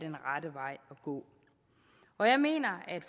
gå og jeg mener at